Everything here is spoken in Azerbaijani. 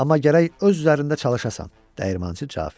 Amma gərək öz üzərində çalışasan, Dəyirmançı cavab verdi.